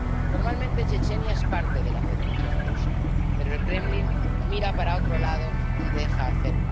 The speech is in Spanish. Formalmente, Chechenia es parte de la Federación de Rusia, pero el Kremlin mira para otro lado y deja hacer.